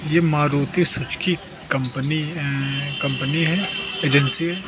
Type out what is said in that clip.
ये Maruti Suzuki company अअ company है एजेंसी है।